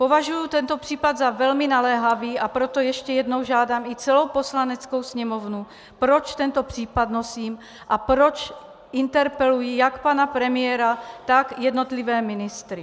Považuji tento případ za velmi naléhavý, a proto ještě jednou žádám i celou Poslaneckou sněmovnu, proč tento případ nosím a proč interpeluji jak pana premiéra, tak jednotlivé ministry.